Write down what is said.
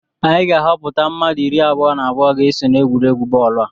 Anyị ga-ahọpụta mmadụ iri abụọ na abụọ ga-eso n'egwuregwu bọọlụ a